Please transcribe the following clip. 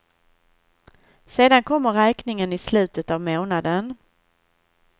Sedan kommer räkningen i slutet av månaden.